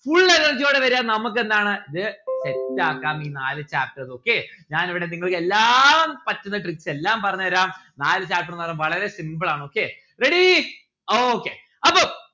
full energy ഓടെ വരാ നമ്മുക്ക് എന്താണ് set ആക്കാം ഈ നാല് chapters okay ഞാൻ ഇവിടെ നിങ്ങൾക്ക് എല്ലാ മ് പറ്റുന്ന tricks എല്ലാം പറഞ്ഞു തരാം. നാല് chapter ന്ന് പറഞ്ഞാൽ വളരെ simple ആണ് okay ready okay അപ്പം